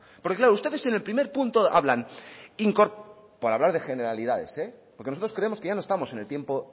porque claro ustedes en el primer punto hablan por hablar de generalidades porque nosotros creemos que ya no estamos en el tiempo